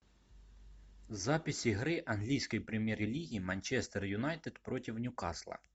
запись игры английской премьер лиги манчестер юнайтед против ньюкасла